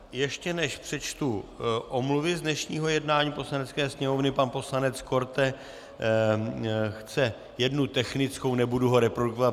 Ještě než přečtu omluvy z dnešního jednání Poslanecké sněmovny, pan poslanec Korte chce jednu technickou, nebudu ho reprodukovat.